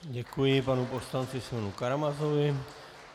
Děkuji panu poslanci Simeonu Karamazovi.